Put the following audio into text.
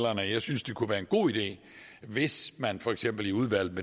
jeg synes det kunne være en god idé hvis man for eksempel i udvalget